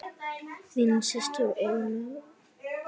Þín systir Ólöf.